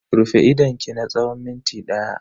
Rufe idonki na tsawon minti daya.